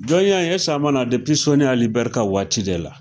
Jɔnya in, eseke a ma na sɔni Ali Bɛri ka waati de la.